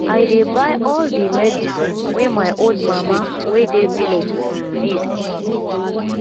i dey buy all di medicine wey my old mama wey dey village um need